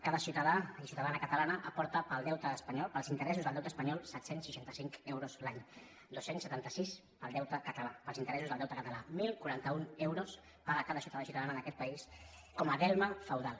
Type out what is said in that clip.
cada ciutadà i ciutadana catalana aporta per al deute espanyol per als interessos del deute espanyol set cents i seixanta cinc euros l’any dos cents i setanta sis per al deute català per als interessos del deute català deu quaranta u euros paga cada ciutadà i ciutadana d’aquest país com a delme feudal